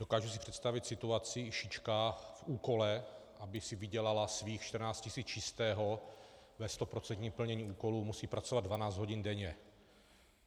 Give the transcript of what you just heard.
Dokážu si představit situaci - šička v úkole, aby si vydělala svých 14 tisíc čistého, ve stoprocentním plnění úkolu musí pracovat 12 hodin denně.